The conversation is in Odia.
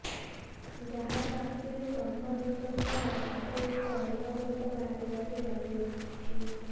ଯାହାର ଆଖିରୁ ତମ୍ବା ଗୁଣ୍ଡ ସହ କାଠ ଗୁଣ୍ଡ ଅନବରତ ବାହାରିବାରେ ଲାଗିଛି